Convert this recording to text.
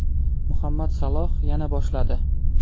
Muhammad Saloh yana boshladi.